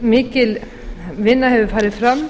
mikil vinna hefur farið fram